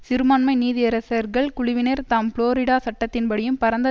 சிறுபான்மை நீதியரசர்கள் குழுவினர் தாம் புளோரிடா சட்டத்தின்படியும் பரந்த